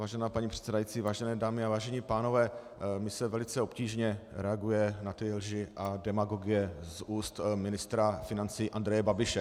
Vážená paní předsedající, vážené dámy a vážení pánové, mně se velice obtížně reaguje na ty lži a demagogie z úst ministra financí Andreje Babiše.